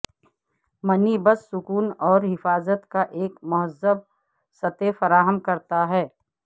منی بس سکون اور حفاظت کا ایک مہذب سطح فراہم کرتا ہے